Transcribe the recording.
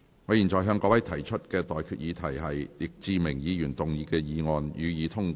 我現在向各位提出的待決議題是：易志明議員動議的議案，予以通過。